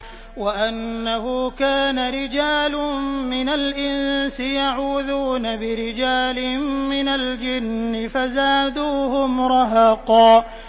وَأَنَّهُ كَانَ رِجَالٌ مِّنَ الْإِنسِ يَعُوذُونَ بِرِجَالٍ مِّنَ الْجِنِّ فَزَادُوهُمْ رَهَقًا